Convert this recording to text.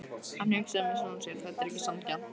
Hann hugsaði með sjálfum sér: Þetta er ekki sanngjarnt.